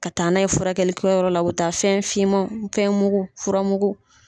Ka taa n'a ye furakɛlikɛyɔrɔ la, u bɛ taa fɛn fimanw fɛnmugu furamugu